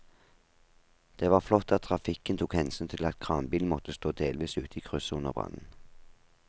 Det var flott at trafikken tok hensyn til at kranbilen måtte stå delvis ute i krysset under brannen.